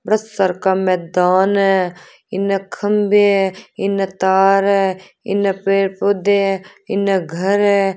बड़े सार का मैदान है इन्ने खम्भे हैं इन्ने तार है इन्ने पेड़-पौधे हैं इन्ने घर है।